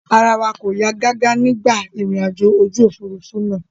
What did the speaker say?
Ara wa kò yá gágá nígbà ìrìnàjò ojú òfurufú náà.